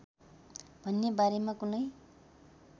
भन्ने बारेमा कुनै